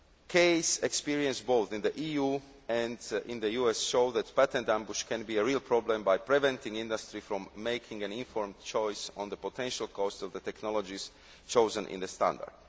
Case experience, both in the EU and in the US, shows that patent ambush can be a real problem by preventing industry from making an informed choice on the potential costs of the technologies chosen in the standard.